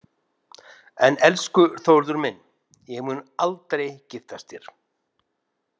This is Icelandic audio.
En elsku Þórður minn, ég mun aldrei giftast þér.